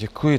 Děkuji.